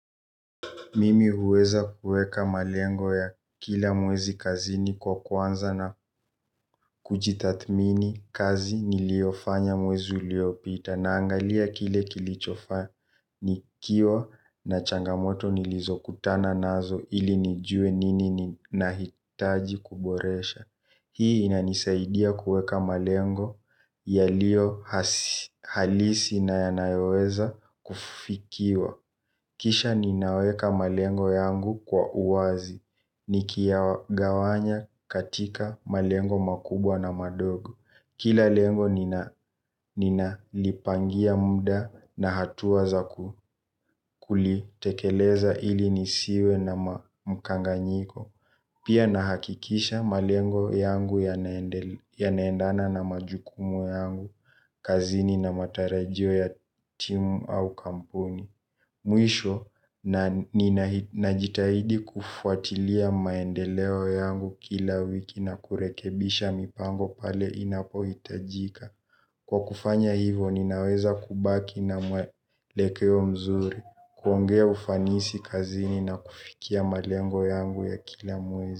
Mimi huweza kueka malengo ya kila mwezi kazini kwa kwanza na kujitathmini kazi niliofanya mwezi uliopita naangalia kile kilichofaa nikiwa na changamoto nilizokutana nazo ili nijue nini nahitaji kuboresha. Hii inanisaidia kueka malengo yaliohalisi na yanayoweza kufikiwa. Kisha ninaweka malengo yangu kwa uwazi, nikiayagawanya katika malengo makubwa na madogo. Kila lengo nina lipangia muda na hatuwa za kulitekeleza ili nisiwe na mkanganyiko. Pia nahakikisha malengo yangu yanaendana na majukumu yangu, kazini na matarajio ya timu au kampuni. Mwisho, ninajitahidi kufuatilia maendeleo yangu kila wiki na kurekebisha mipango pale inapo hitajika. Kwa kufanya hivo, ninaweza kubaki na mwelekeo mzuri, kuongea ufanisi kazini na kufikia malengo yangu ya kila mwezi.